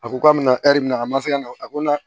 A ko k'a bɛna minɛ a man se ka na a ko n'a na